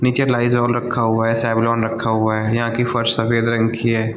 नीचे लीज़ोल रखा हुआ है सेवलॉन रखा हुआ है यहाँ की फर्श सफ़ेद रंग की है।